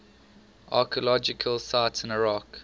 archaeological sites in iraq